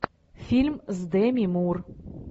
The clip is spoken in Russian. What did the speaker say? фильм с деми мур